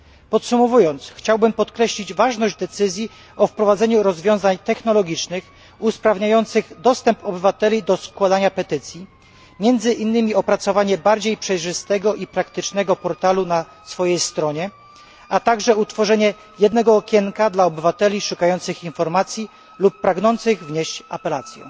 Podsumowując, chciałbym podkreślić ważność decyzji o wprowadzeniu rozwiązań technologicznych usprawniających dostęp obywateli do składania petycji, między innymi opracowanie bardziej przejrzystego i praktycznego portalu na swojej stronie, a także utworzenie jednego okienka dla obywateli szukających informacji lub pragnących wnieść apelację.